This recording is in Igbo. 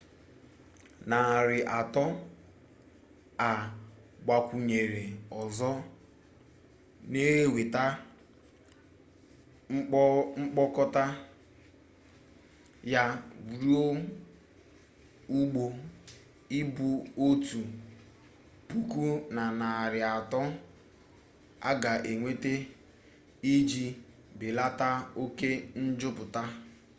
narị atọ a gbakwunyere ọzọ na-eweta mkpokọta ya ruo ụgbọ ibu otu puku na narị atọ a ga-enweta iji belata oke njupụta